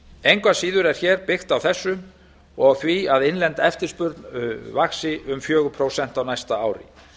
engu að síður er hér byggt á þessu og því að innlend eftirspurn vaxi um fjögur prósent á næsta ári